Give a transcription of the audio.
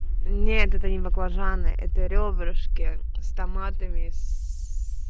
нет это не баклажаны это рёбрышки с томатами с